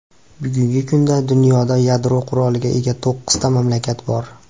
Bugungi kunda dunyoda yadro quroliga ega to‘qqizta mamlakat bor.